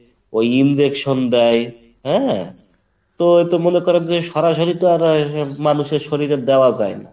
ওই injection দেয়, হ্যাঁ, তো তো মনে করেন যে সরাসরি তো আর এই মানুষের শরীরে দেয়া যায় না।